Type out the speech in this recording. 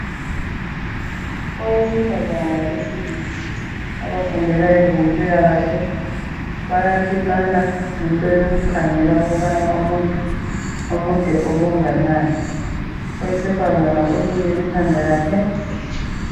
Owesifazana labesilisa abafundela ezempilakahle bayapimana ngento yokukhangela ukubana umuntu umude okunganani owesifazana ulukile ikhanda lakhe